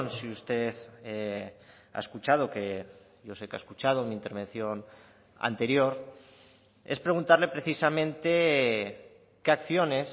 si usted ha escuchado que yo sé que ha escuchado mi intervención anterior es preguntarle precisamente qué acciones